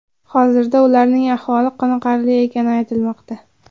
Hozirda ularning ahvoli qoniqarli ekani aytilmoqda.